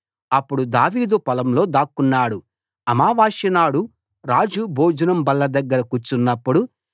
అప్పుడు దావీదు పొలంలో దాక్కున్నాడు అమావాస్యనాడు రాజు భోజనం బల్ల దగ్గర కూర్చున్నప్పుడు